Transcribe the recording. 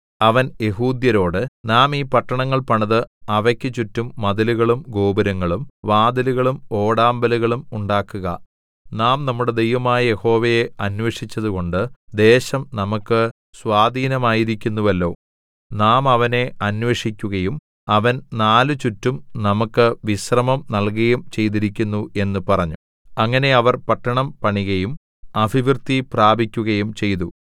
അവൻ യെഹൂദ്യരോട് നാം ഈ പട്ടണങ്ങൾ പണിത് അവക്ക് ചുറ്റും മതിലുകളും ഗോപുരങ്ങളും വാതിലുകളും ഓടാമ്പലുകളും ഉണ്ടാക്കുക നാം നമ്മുടെ ദൈവമായ യഹോവയെ അന്വേഷിച്ചതുകൊണ്ട് ദേശം നമുക്കു സ്വാധീനമായിരിക്കുന്നുവല്ലോ നാം അവനെ അന്വേഷിക്കുകയും അവൻ നാലുചുറ്റും നമുക്ക് വിശ്രമം നല്കയും ചെയ്തിരിക്കുന്നു എന്നു പറഞ്ഞു അങ്ങനെ അവർ പട്ടണം പണികയും അഭിവൃദ്ധി പ്രാപിക്കുകയും ചെയ്തു